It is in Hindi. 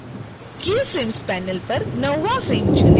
keyframes panel पर 9 वाँ फ्रेम चुनें